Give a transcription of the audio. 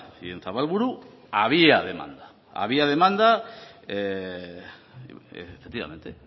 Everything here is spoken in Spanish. y en zabalburu había demanda había demanda efectivamente